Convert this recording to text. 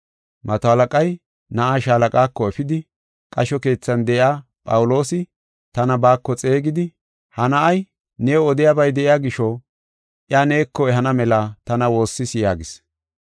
Mato halaqay na7aa shaalaqaako efidi, “Qasho keethan de7iya Phawuloosi tana baako xeegidi, ha na7ay new odiyabay de7iya gisho, iya neeko ehana mela tana woossis” yaagis.